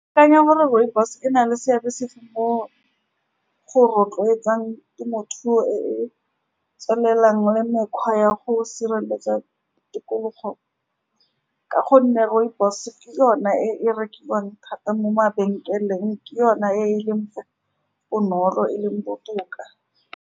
Ke akanya gore rooibos-e e na le seabe sefe mo go rotloetsang temothuo e e tswelelang le mekgwa ya go sireletsa tikologo, ka gonne rooibos-e ke yone e e rekiwang thata mo mabenkeleng, ke yone e e leng , bonolo, e leng botoka.